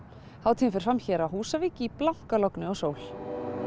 hátíðin fer fram hér á Húsavík í blankalogni og sól